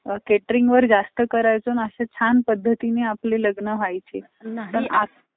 आणि इथं AC मध्ये माणूस बसून, त्याचा income होतोय. तीस ते पस्तीस हजार रुपये माणसांनो income किती मोठ्या प्रमाणात होतयं? त्याचचं आपल्या माणसांनी पण काहीतरी